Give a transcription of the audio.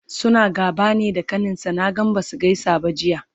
suna gaba ne da kaninsa? Naga Basu gaisa ba Jiya